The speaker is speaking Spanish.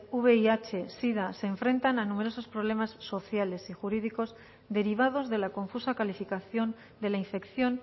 vih sida se enfrentan a numerosos problemas sociales y jurídicos derivados de la confusa calificación de la infección